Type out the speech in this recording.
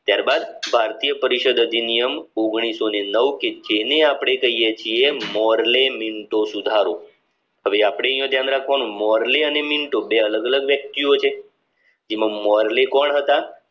ત્યારબાદ ભારતીય પરિષદ અધિનિયમ ઓગણીસો નવ થી જેને અપને કહીયે છીએ મોરલે મિન્ટો સુધારો હવે અપડે અહીંયા ધ્યાન રાખવાનું મોરલે અને મિનિટો બે અલગ અલગ વ્યક્તિઓ છે જેમાં મોરલે કોણ હતા